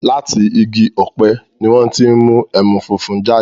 Látì igi ọ̀pẹ̀ ni wọn ti n mú ẹmu fúnfún jáde